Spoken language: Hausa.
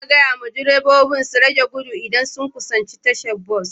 Ana gaya wa direbobi su rage gudu idan sun kusanci tashar bas